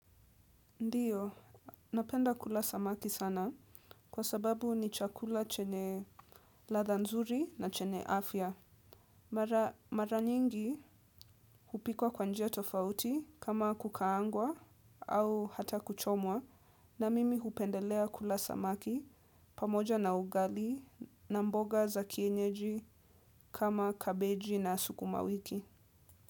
Ndiyo, napenda kula samaki sana kwa sababu ni chakula chenye ladha nzuri na chenye afya mara mara nyingi hupikwa kwa njia tofauti kama kukaangwa au hata kuchomwa na mimi hupendelea kula samaki pamoja na ugali na mboga za kienyeji kama kabeji na sukuma wiki.